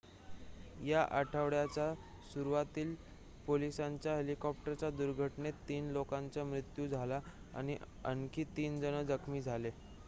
या आठवड्याच्या सुरुवातीला पोलिसांच्या हेलिकॉप्टरच्या दुर्घटनेत 3 लोकांचा मृत्यू झाला आणि आणखी 3 जण जखमी झाले